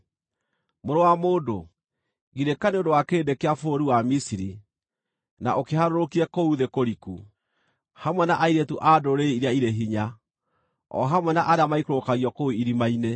“Mũrũ wa mũndũ, girĩka nĩ ũndũ wa kĩrĩndĩ kĩa bũrũri wa Misiri, na ũkĩharũrũkie kũu thĩ kũriku, hamwe na airĩtu a ndũrĩrĩ iria irĩ hinya, o hamwe na arĩa maikũrũkagio kũu irima-inĩ.